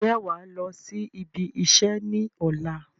Ǹjẹ́ wàá lọ sí ibi iṣẹ́ ni ọ̀la?